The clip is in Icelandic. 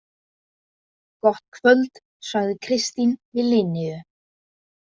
Gott kvöld, sagði Kristín við Linneu.